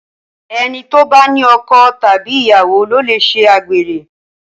ẹní tí o bá ní ọkọ Tàbí ìyàwó lo lẹ ṣe àgbèrè